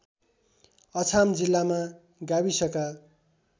अछाम जिल्लामा गाविसका